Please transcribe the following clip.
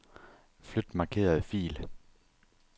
Flyt markerede fil.